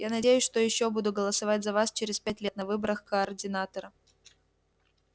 я надеюсь что ещё буду голосовать за вас через пять лет на выборах координатора